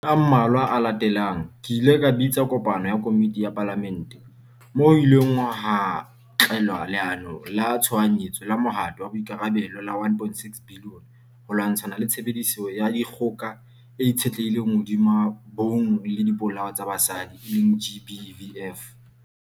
Matsatsing a mmalwa a latelang, ke ile ka bitsa kopano ya komiti ya Palamente, moo ho ileng hatlalewa Leano la Tshohanyetso la Mohato wa Boikarabelo la R1.6 billion ho lwatshana le tshebediso ya dikgoka e itshetlehileng hodima bong le dipolao tsa basadi, GBVF.